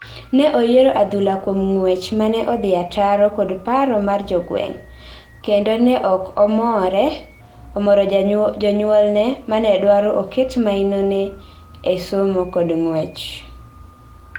ne oyiero adhula kuom ngwech mano odhi ataro kod paro mar jogweng, kendo ne ok omoro jonyuolne mane dwaro oket mainone e somo kod ngwech